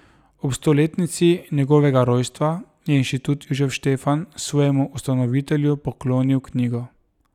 Ob stoletnici njegovega rojstva je Institut Jožef Štefan svojemu ustanovitelju poklonil knjigo.